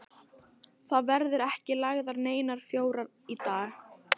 Það verða ekki lagðar neinar fjórar í dag.